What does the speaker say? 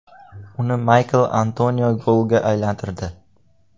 Uni Maykl Antonio golga aylantirdi.